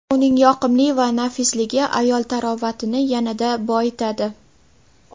Uning yoqimli va nafisligi ayol tarovatini yanada boyitadi.